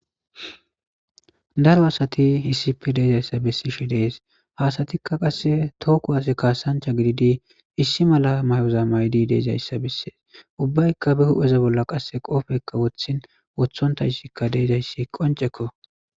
Daro asati hiisipe deezayssa bessishe dees hasatikka qasse tooku hase kaasancha gididi issi mala may'oza maydi deezayssa besses ubbaykka be hu'eza bolla qasse qoofekka wothin wothonta issikka deezayssi qoncekko.